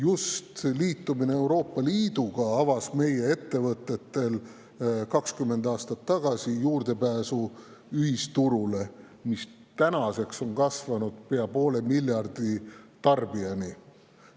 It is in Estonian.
Just liitumine Euroopa Liiduga avas meie ettevõtetele 20 aastat tagasi juurdepääsu ühisturule, kus tarbijate on nüüdseks kasvanud pea poole miljardini.